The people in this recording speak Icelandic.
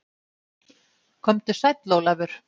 Komdu sæll Ólafur.